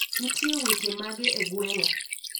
Ntie weche mage e gweng'a